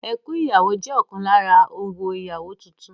Ẹkún ìyàwó jẹ́ ọ̀kan lára orò ìyàwó titun